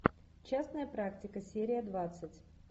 частная практика серия двадцать